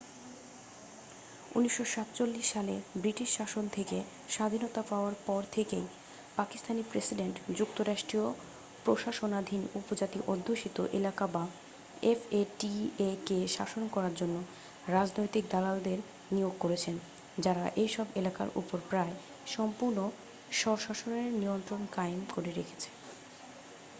1947 সালে ব্রিটিশ শাসন থেকে স্বাধীনতা পাওয়ার পর থেকেই পাকিস্তানী প্রেসিডেন্ট যুক্তরাষ্ট্রীয় প্রশাসনাধীন উপজাতি অধ্যুষিত এলাকা বা এফ এ টি এ-কে শাসন করার জন্য রাজনৈতিক দালালদের নিয়োগ করেছেন যারা এইসব এলাকার উপর প্রায়-সম্পূর্ণ স্বশাসনের নিয়ন্ত্রণ কায়েম করে রেখেছে